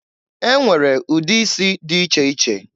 E nwere ụdị isi dị iche iche.